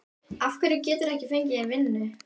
Af hverju geturðu ekki fengið þér vinnu?